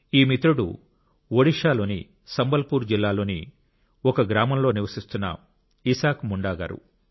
ఈ మిత్రుడు ఒడిషాలోని సంబల్పూర్ జిల్లాలోని ఒక గ్రామంలో నివసిస్తున్న ఇసాక్ ముండా గారు